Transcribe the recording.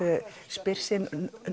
spyr sig